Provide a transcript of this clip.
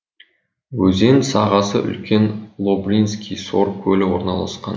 өзен сағасы үлкен лорбинский сор көлі орналасқан